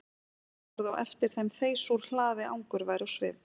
Skáldið horfði á eftir þeim þeysa úr hlaði angurvær á svip.